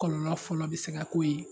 Kɔlɔnlɔ fɔlɔ bɛ se ka k'o ye